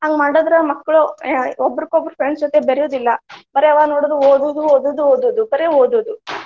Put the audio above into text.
ಹಂಗ್ ಮಾಡಿದ್ರ ಮಕ್ಳು ಅಹ್ ಒಬ್ರುಕೊಬ್ರು friends ಜೊತೆ ಬೆರ್ಯುದಿಲ್ಲಾ ಬರೆ ಯಾವಾಗ ನೋಡಿದ್ರು ಓದುದು, ಓದುದು, ಓದುದು ಬರೆ ಓದುದು .